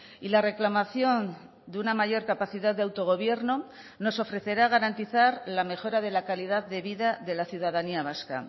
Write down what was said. y la reclamación de una mayor capacidad de autogobierno nos ofrecerá garantizar la mejora de la calidad de vida de la ciudadanía vasca